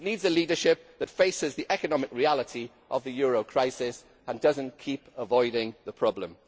It needs a leadership that faces the economic reality of the euro crisis and does not keep avoiding the problem.